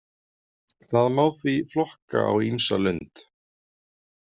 Þá má því flokka á ýmsa lund.